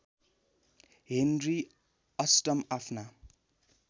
Henry अष्टम आफ्ना